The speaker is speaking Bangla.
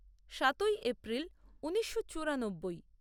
সাতই এপ্রিল ঊনিশো চুরানব্বই